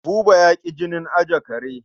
Buba ya ƙi jinin ajiye kare.